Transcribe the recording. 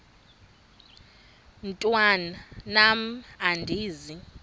mntwan am andizi